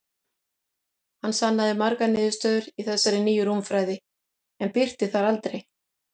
Hann sannaði margar niðurstöður í þessari nýju rúmfræði, en birti þær aldrei.